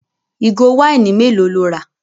Ìgò wáìnì mélòó lo rà?